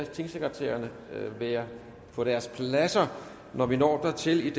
tingsekretærerne være på deres pladser når vi når dertil